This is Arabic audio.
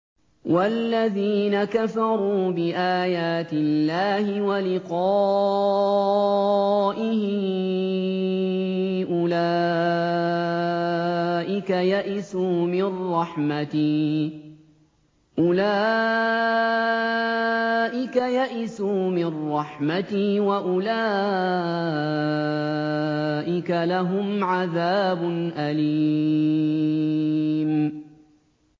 وَالَّذِينَ كَفَرُوا بِآيَاتِ اللَّهِ وَلِقَائِهِ أُولَٰئِكَ يَئِسُوا مِن رَّحْمَتِي وَأُولَٰئِكَ لَهُمْ عَذَابٌ أَلِيمٌ